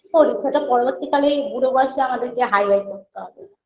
সেটা পরবর্তীকালে বুড়ো বয়সে আমাদেরকে হাই হাই করতে হবে